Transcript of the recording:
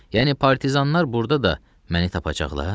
Yəni partizanlar burda da məni tapacaqlar?